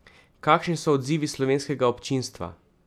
Kakšni so odzivi slovenskega občinstva?